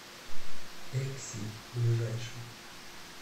экси ближайший